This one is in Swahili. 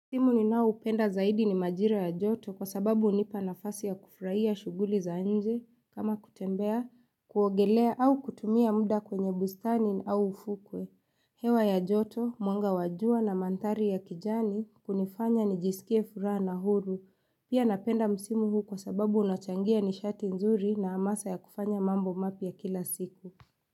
Simu ni nao upenda zaidi ni majira ya joto kwa sababu unipa nafasi ya kufurahia shughuli za nje kama kutembea, kuwaogelea au kutumia muda kwenye bustani au ufukwe. Hewa ya joto, mwanga wa jua na mantari ya kijani kunifanya ni jisikie fura na huru. Pia napenda msimu huu kwa sababu unachangia ni shati nzuri na amasa ya kufanya mambo mapi ya kila siku.